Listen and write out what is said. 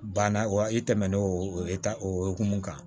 Banna wa i tɛmɛn'o ta o hokumu kan